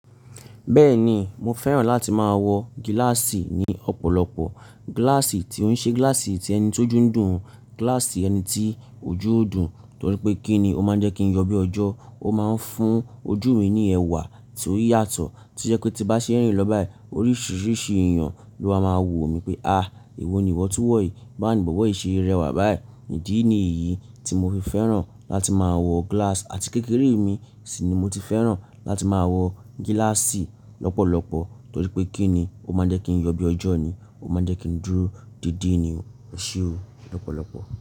Bẹ́ẹ̀ni mo fẹ́ràn láti máa wọ gíláàsì ní ọ̀pọ̀lọpọ̀. Gíláàsì tí ó ń ṣe gíláàsì tí ẹni tó dúndùn, gíláàsì ẹni tí ojú ò dùn, torí je pé kí ni ó máa jẹ́ kí n yọ bí ọjọ́, ó máa ń fún ojú mi ní ẹwà tí ó yàtọ̀ tí ó jẹ́ pé tí n bá ṣe n rìn lọ báyìí oríṣiríṣi èèyàn ló ma máa wò mí pé, à ewo ni ìwọ́ tun wọ̀ yìí, báwoni bọ̀bo yìí ṣe rẹwà báyìí. Ìdí ni èyí tí mo fi fẹ́ràn láti máa wọ gíláàsì àti kékeré mi sì ni mo ti fẹ́ràn láti máa wọ gíláàsì lọ́pọ̀lọpọ̀ torí pé kí ni ó máa n jẹ́ kí n yọ bí ọjọ́ ni, ó máa jẹ́ kí n dúró dédé ni, e se o, lọ́pọ̀lọpọ̀